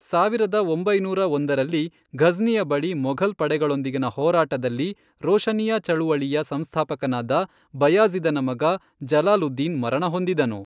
ಸಾವಿರದ ಒಂಬೈನೂರ ಒಂದರಲ್ಲಿ, ಘಜ್ನಿಯ ಬಳಿ ಮೊಘಲ್ ಪಡೆಗಳೊಂದಿಗಿನ ಹೋರಾಟದಲ್ಲಿ ರೋಶನಿಯಾ ಚಳುವಳಿಯ ಸಂಸ್ಥಾಪಕನಾದ ಬಯಾಜಿ಼ದನ ಮಗ ಜಲಾಲುದ್ದೀನ್ ಮರಣ ಹೊಂದಿದನು.